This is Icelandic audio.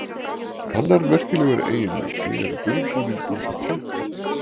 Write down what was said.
annar merkilegur eiginleiki er dulbúningur kolkrabbans